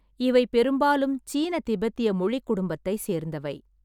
இவை பெரும்பாலும் சீன-திபெத்திய மொழிக் குடும்பத்தை சேர்ந்தவை.